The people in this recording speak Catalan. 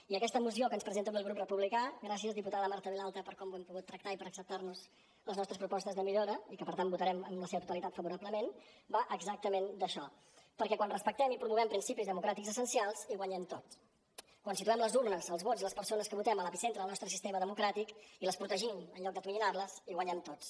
i aquesta moció que ens presenta avui el grup republicà gràcies diputada marta vilalta per com ho hem pogut tractar i per acceptar nos les nostres propostes de millora i que per tant votarem en la seva totalitat favorablement va exactament d’això perquè quan respectem i promovem principis democràtics essencials hi guanyem tots quan situem les urnes els vots i les persones que votem a l’epicentre del nostre sistema democràtic i les protegim en lloc d’atonyinar les hi guanyem tots